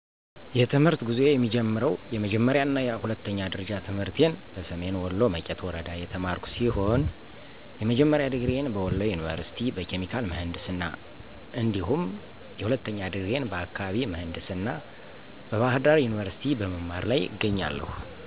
የትምህርተ ጉዞዬ የሚጀምረው የመጀመሪያ እና ሁለተኛ ደረጃ ትምህርቴን በሰሜን ወሎ መቄት ወረዳ የተማርኩ ሲሆን የመጀመሪያ ድግሪዬን በወሎ የኒቨርስቲ በኬሚካል ምህንድስና እንዲሁም የሁለተኛ ድግሬዬን በአካባቢ ምህንድስና በባህርዳር ዩኒቨርስቲ በመማር ላይ እገኛለሁ።